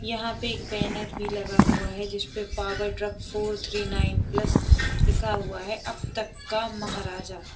यहां पे एक बैनर भी लगा हुआ है जिस पे power track four three nine plus लिखा हुआ है अब तक का महाराज।